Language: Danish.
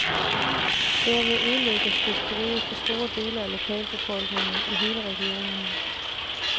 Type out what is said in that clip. Derved ødelægges fiskeriet for store dele af lokalbefolkningen i hele regionen.